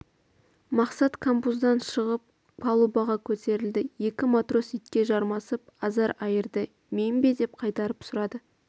мақсат камбуздан шығып палубаға көтерілді екі матрос итке жармасып азар айырды мен бе деп қайтарып сұрады